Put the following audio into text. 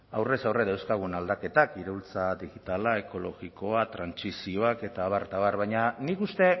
aurrez aurre dauzkagun aldaketak iraultza digitala ekologikoa trantsizioak eta abar eta abar baina nik uste